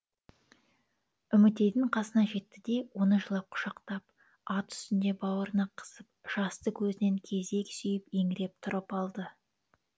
үмітейдің қасына жетті де оны жылап құшақтап ат үстінде бауырына қысып жасты көзінен кезек сүйіп еңіреп тұрып алды